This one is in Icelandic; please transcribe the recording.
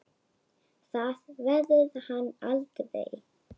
Það verður hann aldrei.